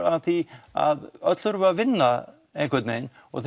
að því að öll þurfum við að vinna einhvern vegin og